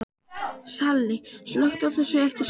Salli, slökktu á þessu eftir sextíu og fjórar mínútur.